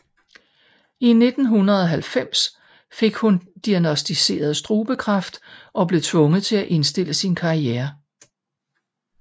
I 1990 fik hun diagnosticeret strubekræft og blev tvunget til at indstille sin karriere